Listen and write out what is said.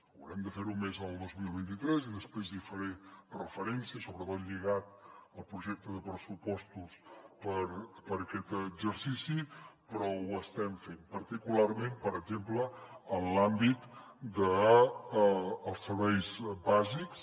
haurem de fer ho més el dos mil vint tres i després hi faré referència sobretot lligat al projecte de pressupostos per a aquest exercici però ho estem fent particularment per exemple en l’àmbit dels serveis bàsics